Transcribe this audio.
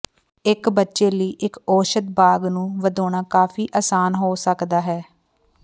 ਇੱਕ ਬੱਚੇ ਲਈ ਇੱਕ ਔਸ਼ਧ ਬਾਗ਼ ਨੂੰ ਵਧਾਉਣਾ ਕਾਫ਼ੀ ਆਸਾਨ ਹੋ ਸਕਦਾ ਹੈ